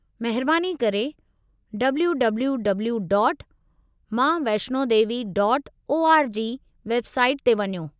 महिरबानी करे www.maavaishnodevi.org website ते वञो।